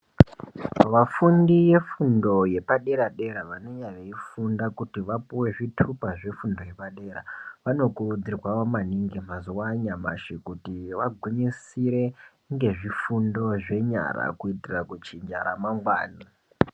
Vafundi vefundo yepadera dera vanenge veifunda kuti vapuwe zvitupa zvefundo yepadera vanokurudzirwa maningi mazuwa anyamushi kuti vagwinyisire ngezvifundo zvenyara kuitira kuchinja ramangwana.